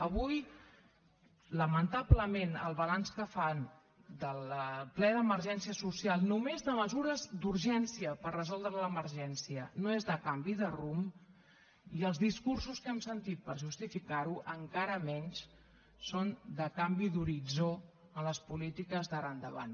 avui lamentablement el balanç que fan del ple d’emergència social només de mesures d’urgència per resoldre l’emergència no és de canvi de rumb i els discursos que hem sentit per justificar ho encara menys són de canvi d’horitzó en les polítiques d’ara endavant